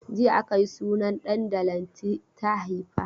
Jiya aka yi sunan ɗan da Lanti ta haifa.